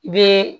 I bɛ